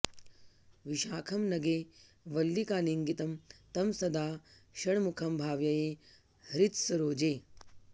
विशाखं नगे वल्लिकालिङ्गितं तं सदा षण्मुखं भावये हृत्सरोजे